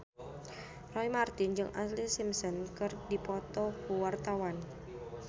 Roy Marten jeung Ashlee Simpson keur dipoto ku wartawan